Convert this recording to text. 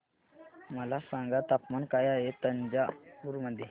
मला सांगा तापमान काय आहे तंजावूर मध्ये